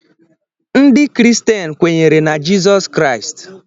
Ndị Kristian kwenyere na Jezọs Christ